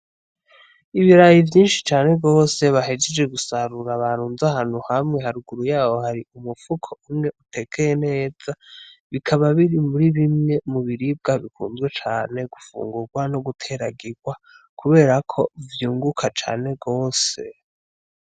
Ibirayi vyinshi cane gose bahejeje gusarura barunze ahantu hamwe. Haruguru yaho hari umufuko umwe utekeye neza. Bikaba biri muri bimwe mu biribwa bikunzwe cane gufungurwa no guteragirwa kubera ko vyunguka cane gose.